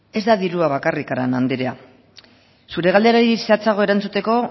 ez da dirua bakarrik arana andrea zure galderari zehatzago erantzuteko